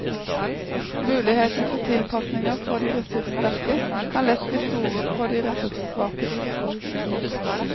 Muligheten for tilpasninger for de ressurssterke kan lett bli store på de ressurssvakes bekostning.